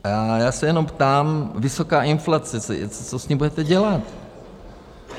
A já se jenom ptám: vysoká inflace, co s ní budete dělat?